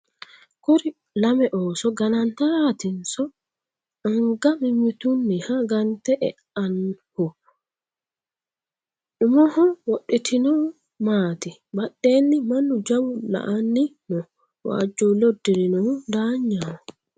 Kuri lame ooso ganantaraatinso anga mimmitunniha gante eannohu. Umoho wodhitinohu maati ? Badheenni Mannu jawu la'abni no. Waajjuulle uddirinohu daanyaho.